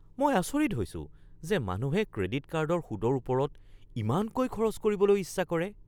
মই আচৰিত হৈছোঁ যে মানুহে ক্ৰেডিট কাৰ্ডৰ সুতৰ ওপৰত ইমানকৈ খৰচ কৰিবলৈ ইচ্ছা কৰে।